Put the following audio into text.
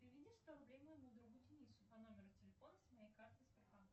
переведи сто рублей моему другу денису по номеру телефона с моей карты сбербанка